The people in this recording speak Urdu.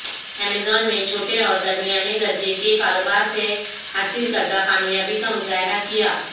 ایمیزون نے چھوٹے اور درمیانے درجے کے کاروبار سے حاصل کردہ کامیابی کا مظاہرہ کیا